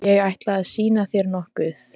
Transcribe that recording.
Ég ætla að sýna þér nokkuð.